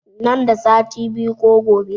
Nan da sati biyu ko gobe